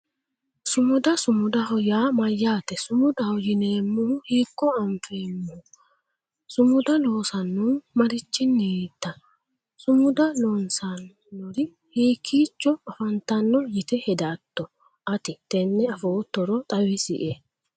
Sumuda sumudaho yaa mayyaate sumudaho yineemmohu hiikko afi'neemmoho sumuda loonsannihu marichinniita sumuda loossannori hiikkiicho afantanno yite hedatto ati tenne afoottoro xawisie